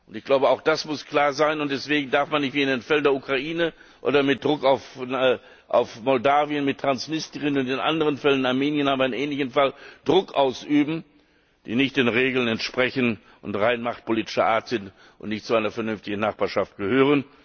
Ich glaube, auch das muss klar sein, und deswegen darf man nicht wie in dem Fall der Ukraine oder mit Druck auf Moldawien, mit Transnistrien oder in den anderen Fällen in Armenien haben wir einen ähnlichen Fall Druck ausüben, der nicht den Regeln entspricht und rein machtpolitischer Art ist und nicht zu einer vernünftigen Nachbarschaft gehört.